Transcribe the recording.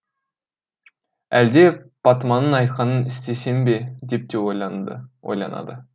әлде патыманың айтқанын істесем бе деп те ойланады